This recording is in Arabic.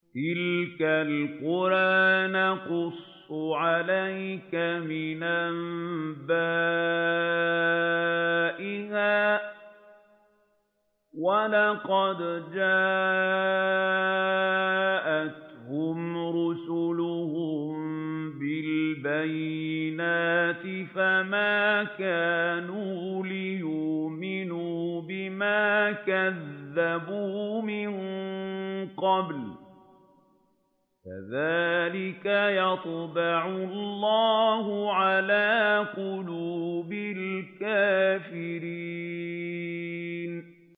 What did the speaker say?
تِلْكَ الْقُرَىٰ نَقُصُّ عَلَيْكَ مِنْ أَنبَائِهَا ۚ وَلَقَدْ جَاءَتْهُمْ رُسُلُهُم بِالْبَيِّنَاتِ فَمَا كَانُوا لِيُؤْمِنُوا بِمَا كَذَّبُوا مِن قَبْلُ ۚ كَذَٰلِكَ يَطْبَعُ اللَّهُ عَلَىٰ قُلُوبِ الْكَافِرِينَ